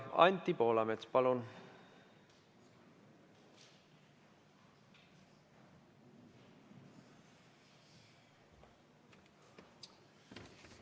Anti Poolamets, palun!